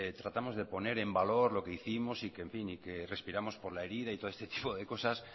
tratamos de poner en valor lo que hicimos y que en fin respiramos por la herida y todo este tipo de cosas